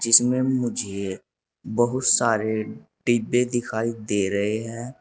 इसमे मुझे बहुत सारे डिब्बे दिखाई दे रहे हैं।